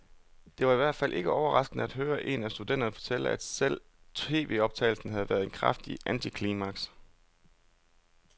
Det var i hvert fald ikke overraskende at høre en af studenterne fortælle, at selve tvoptagelsen havde været et kraftigt antiklimaks.